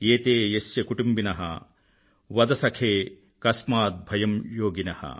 యతే యస్య కుటుంబిన వద సఖే కస్మాద్ భయం యోగిన